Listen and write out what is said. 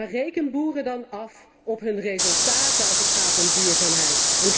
Maar reken boeren dan af op hun resultaten, als het gaat om duurzaamheid.